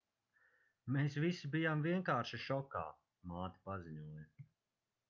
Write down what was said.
mēs visi bijām vienkārši šokā māte paziņoja